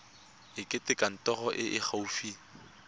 etela kantoro e e gaufi